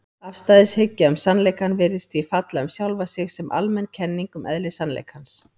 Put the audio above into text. Afstæðishyggja um sannleikann virðist því falla um sjálfa sig sem almenn kenning um eðli sannleikans.